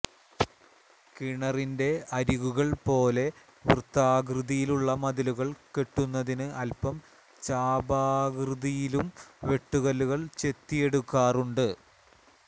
കിണറിന്റെ അരികുകൾ പോലെ വൃത്താകൃതിയിലുള്ള മതിലുകൾ കെട്ടുന്നതിന് അൽപ്പം ചാപാകൃതിയിലും വെട്ടുകല്ല് ചെത്തിയെടുക്കാറുണ്ട്